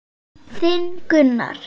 Þinn Gunnar.